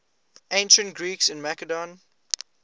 ancient greeks in macedon